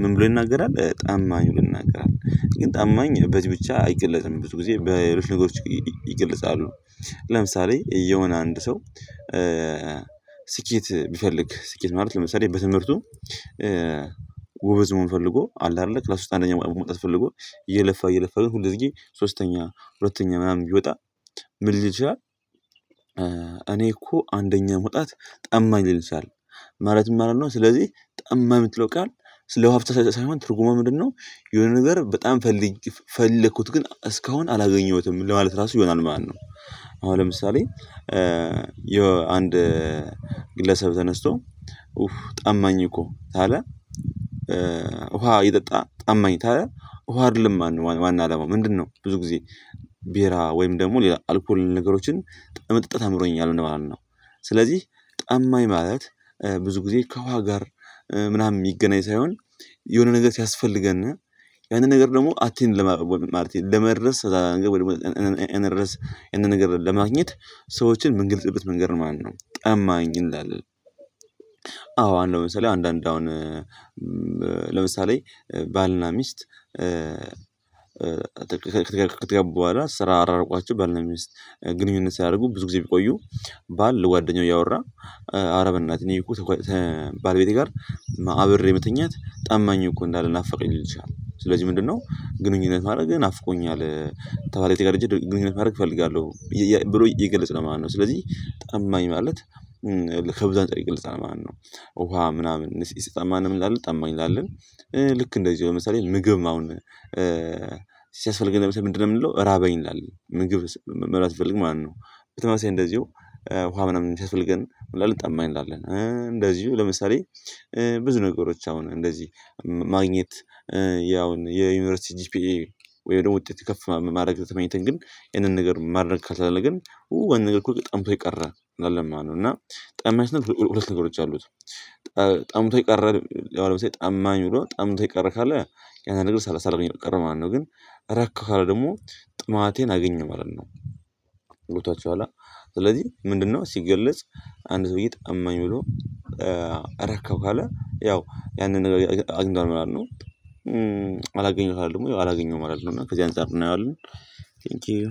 ምን ብሎ ይናገራል? ጠማኝ ብሎ ይንናገራል። ግን ጠማኝ በዚህ ብቻ አይገለጽም ብዙ ጊዜ በሌሎች ነገሮች ይገልጻሉ። ለምሳሌ የሆነ አንድ ሰው። ስኬት ቢፈልግ ስኬት ማለት ለምሳሌ በትምህርቱ መሆን ፈልጎ አለ አደለ ክላስ ውስጥ አንደኛ መውጣት ፈልጎ እየለፋ እየለፋ ግን ሁለግዜ ሶስተኛ ሁለተኛ ምናምን ቢወጣ ምን ሊል ይችላል? እኔ እኮ አንደኛ መውጣት ጠማኝ ሊል ይችላል። ማለት ምን ማለት ነው። ስለዚህ ጠማኝ ምትለው ቃል ስለ ውሃ ብቻ ሳይሆን ትርጉምዋ ምንድነው? የሆነ ነገር በጣም ፈልጌ ፈልኩት ግን እስካሁን አላገኘሁትም ለማለት ራሱ ይሆናል ማለት ነው። አሁን ለምሳሌ። የአንድ ግለሰብ ተነስቶ ጠማኝ እኮ ታለ። ውሃ እየጠጣ ጣማኝ ታለ ውሃ አደለም ማለት ዋና አለማው ምንድነው? ብዙ ጊዜ ቤራ ወይም ደግሞ ሌላ አልኮል ነገሮችን ለመጠጣት አምሮኛል እንደ ማለት ነው። ስለዚህ ጠማኝ ማለት ብዙ ጊዜ ከዉሀ ጋር ምናምን የሚገናኝ ሳይሆን የሆነ ነገር ሲያስፈልገን ያንን ነገር ደግሞ አቴን ለማለት ለመድረስ። ለመድረስ ያንን ነገር ለማግኘት ሰዎችን ምንገልጽበት መንገር ማለት ነው ጠማኝ እንላለን። አዎ አንድ ለምሳሌ አንዳንድ አሁን ለምሳሌ ባልና ሚስት። ከገቡ በኋላ ስራ አራርቋቸው በል ነው ሚስት ግንኙነት ሲያደርጉ ብዙ ጊዜ ቢቆዩ። ባል ጓደኛው እያወራ አረ እናት በእኔ እኮ። ባልቤቴ ጋር አብሬ የምትኛት ጣማኝ እኮ እንዳለ ናፈቀኝ ልትችል ስለዚህ ምንድነው ግንኙነት ማድረግ ናፍቆኛል። ከባለቤቴ ጋር ደግሞ ግንኙነት ማድረግ እፈልጋለሁ ብሎ ይገለጽ ለማለት ነው። ስለዚህ ጠማኝ ማለት ከብዙ አንፃር ይገልጻል ማለት ነው። ውሃ ምናምን ይሰጣል ማን ነው ይላል ጠማኝ እንላለን። ልክ እንደዚህ ነው ለምሳሌ ምግብም አሁን ሲያስፈልገን ለምሳሌ ምንድነው? የምንለው ራበኝ እንላለን ምግብ መብላት ስንፈልግ ማለት ነው። በተመሳሳይ እንደዚሁ። ውሃ ምናምን ሲያስፈልገን ምናምን ጠማኝ እንላለን እንደዚሁ ለምሳሌ ብዙ ነገሮች አሁን እንደዚህ ማግኘት ያውን የዩኒቨርሲቲ ጂፒኤ። ወይ ደግሞ ውጤት ከፍ ማድረግ የተመኘን ግን ይሄንን ነገር ማድረግ ካልቻልን ግን ወይ ነገር እኮ ቅጣም የቀረ አይደለም ማነው እና ጠማኝ ነው ሁለት ነገሮች አሉት። ጠምቶ ቀረ ያው ለምሳሌ ጠማኝ ሆኖ ጠምቶ ቀረ ካለ ያንን ነገር ሳላገኝ ቀረው ማለት ነው። ግን እረካው ካለ ደግሞ ጥማቴን አገኘሁ ማለት ነው። ገብቷቸው አለ ስለዚህ ምንድነው ሲገለጽ። አንድ ሰውዬ ጠማኝ ብሎ ረከብ ካለ ያው ያንን ነገር አግኝቷል ምናምን ነው። አላገኘሁትም ወይ አላገኘሁም አይደለም እና ከዚህ አንፃር እናየዋለን። ቴንኪው